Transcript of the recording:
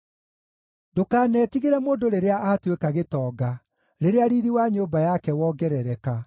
Ndũkanetigĩre mũndũ rĩrĩa aatuĩka gĩtonga, rĩrĩa riiri wa nyũmba yake wongerereka;